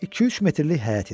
İki-üç metrlik həyət idi.